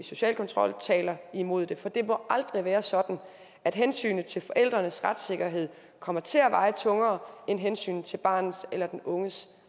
social kontrol taler imod det for det må aldrig være sådan at hensynet til forældrenes retssikkerhed kommer til at veje tungere end hensynet til barnets eller den unges